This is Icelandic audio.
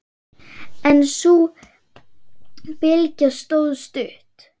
En sú bylgja stóð stutt.